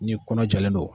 Ni kɔnɔ jalen don